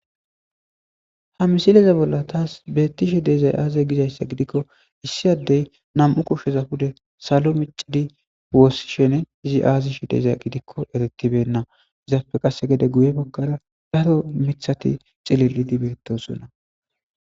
ha misileze bolla taas beettishe de'ezay aaze gizayssa gidikko issi addey nam'u kushsheza fude salo micidi woossishene izi aazishi de'eza gidikko eretibenna izaappe qasse gede guye baggara daro mithati cililidi beettosonna